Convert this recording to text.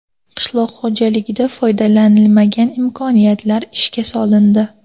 Qishloq xo‘jaligida foydalanilmagan imkoniyatlar ishga solindi.